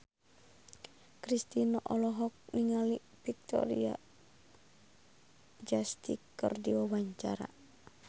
Kristina olohok ningali Victoria Justice keur diwawancara